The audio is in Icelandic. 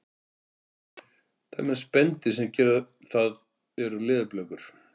dæmi um spendýr sem gera það eru leðurblökur